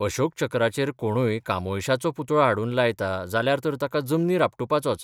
अशोकचक्राचेर कोणूय कामोयशाचो पुतळो हाडून लायता जाल्यार तर ताका जमनीर आपटुपाचोच.